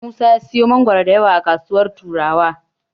Musa ya siyo mangoro da yawa a kasuwar Turawa.